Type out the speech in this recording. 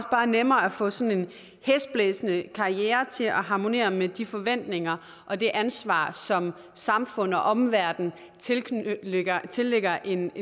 bare nemmere at få sådan en hæsblæsende karriere til at harmonere med de forventninger og det ansvar som samfundet og omverdenen tillægger tillægger en